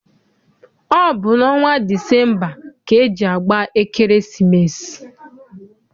Ọ bụ n'ọnwa Disemba ka eji agba ekeresimesi.